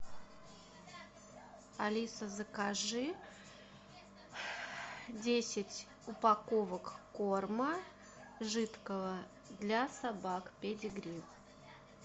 алиса закажи десять упаковок корма жидкого для собак педигри